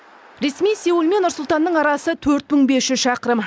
ресми сеул мен нұр сұлтанның арасы төрт мың бес жүз шақырым